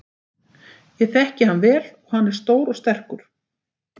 Ég þekki hann vel og hann er stór og sterkur.